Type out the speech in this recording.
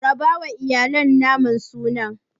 Rabawa iyalan biyu naman sunan.